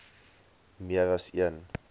meer as een